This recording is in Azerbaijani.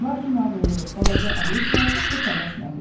Lakin ağıllı balaca Alisa çox da tələsmədi.